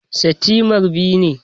Setimer biyu ne